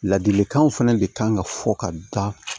Ladilikanw fɛnɛ de kan ka fɔ ka da